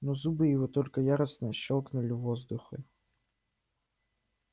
но зубы его только яростно щёлкнули в воздухе